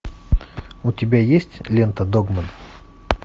у тебя есть лента догман